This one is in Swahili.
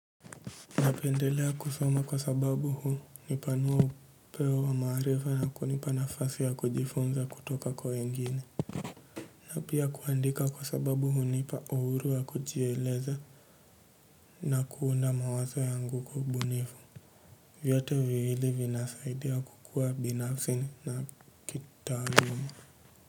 Napendelea kusoma kwa sababu hupanua upeo wa maarifa na kunipa nafasi ya kujifunza kutoka kwa wengine. Na pia kuandika kwa sababu hunipa uhuru wa kujieleza na kuunda mawazo yangu kwa ubunifu. Vyote viwili vinasaidia kukua binafsi na kitaaluma.